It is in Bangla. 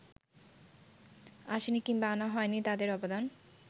আসেনি কিংবা আনা হয়নি তাঁদের অবদান